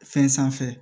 Fɛn sanfɛ